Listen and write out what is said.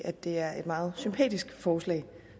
at det er et meget sympatisk forslag